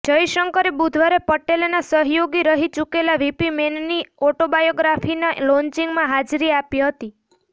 જયશંકરે બુધવારે પટેલના સહયોગી રહી ચુકેલા વીપી મેનનની ઓટોબાયોગ્રાફીના લોન્ચિંગમાં હાજરી આપી હતી